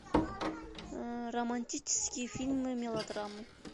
романтические фильмы мелодрамы